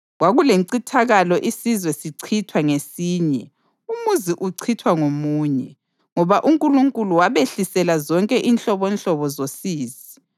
Kwakulencithakalo isizwe sichithwa ngesinye, umuzi uchithwa ngomunye, ngoba uNkulunkulu wabehlisela zonke inhlobonhlobo zosizi.